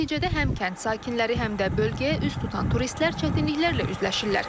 Nəticədə həm kənd sakinləri, həm də bölgəyə üz tutan turistlər çətinliklərlə üzləşirlər.